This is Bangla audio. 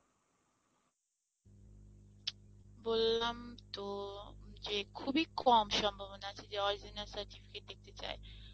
বললাম তো যে খুবই কম সম্ভাবনা আছে যে original certificate দেখতে চায়।